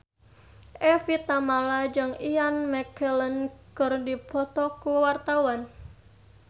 Evie Tamala jeung Ian McKellen keur dipoto ku wartawan